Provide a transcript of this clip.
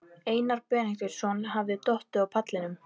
Einar Benediktsson hafði dottað á pallinum.